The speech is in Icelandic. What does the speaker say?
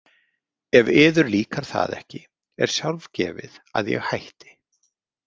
Ef yður líkar það ekki er sjálfgefið að ég hætti.